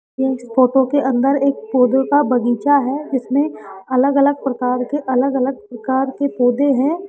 इस फोटो के अंदर एक पौधों का बगीचा है जिसमें अलग अलग प्रकार के अलग अलग प्रकार के पौधे हैं।